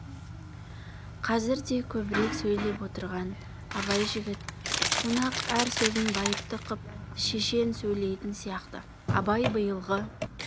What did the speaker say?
қазірде көбірек сөйлеп отырған абай жігіт қонақ әр сөзін байыпты қып шешен сөйлейтін сияқты абай биылғы